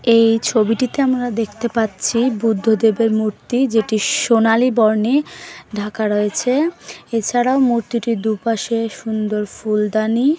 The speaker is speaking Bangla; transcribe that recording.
এই ছবিটিতে আমরা দেখতে পাচ্ছি বুদ্ধদেবের মূর্তি যেটি সোনালী বর্ণে ঢাকা রয়েছে এছাড়াও মূর্তিটির দুপাশে সুন্দর ফুলদানি--